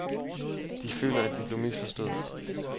De føler, at de blev misforstået.